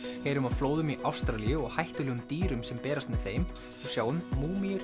heyrum af flóðum í Ástralíu og hættulegum dýrum sem berast með þeim og sjáum